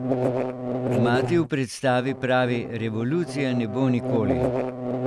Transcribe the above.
Mati v predstavi pravi: "Revolucije ne bo nikoli.